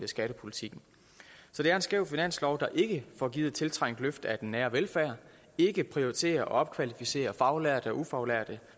skattepolitikken så det er en skæv finanslov der ikke får givet et tiltrængt løft af den nære velfærd ikke prioriterer at opkvalificere faglærte og ufaglærte